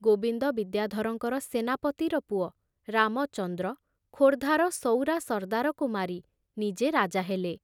ଗୋବିନ୍ଦ ବିଦ୍ୟାଧରଙ୍କର ସେନାପତିର ପୁଅ ରାମଚନ୍ଦ୍ର ଖୋର୍ଦ୍ଧାର ସଉରା ସର୍ଦାରକୁ ମାରି ନିଜେ ରାଜା ହେଲେ।